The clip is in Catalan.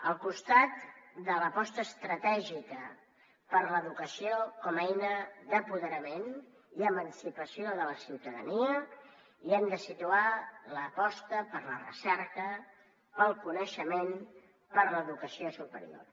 al costat de l’aposta estratègica per l’educació com a eina d’apoderament i emancipació de la ciutadania hi hem de situar l’aposta per la recerca pel coneixement per l’educació superior